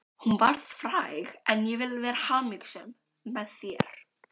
Hún varð fræg en ég vil vera hamingjusöm, með þér.